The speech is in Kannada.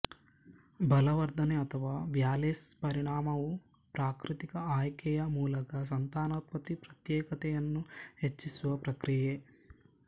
ಬಲವರ್ಧನೆ ಅಥವಾ ವ್ಯಾಲೇಸ್ ಪರಿಣಾಮವು ಪ್ರಾಕೃತಿಕ ಆಯ್ಕೆಯ ಮೂಲಕ ಸಂತಾನೋತ್ಪತ್ತಿ ಪ್ರತ್ಯೇಕತೆಯನ್ನು ಹೆಚ್ಚಿಸುವ ಪ್ರಕ್ರಿಯೆ